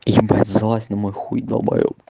ебать залазь на мой хуй долбаеб